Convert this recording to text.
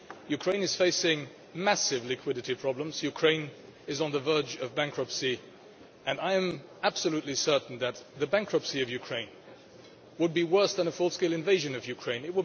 Ukraine is facing massive liquidity problems. Ukraine is on the verge of bankruptcy, and I am absolutely certain that the bankruptcy of Ukraine would be worse than a full scale invasion of Ukraine.